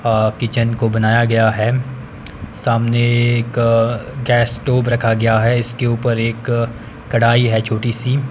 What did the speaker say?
अ kitchen को बनाया गया है सामने एक गैस स्टोव रखा गया है इसके ऊपर एक कढाई है छोटी सी।